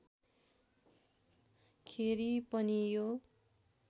खेरि पनि यो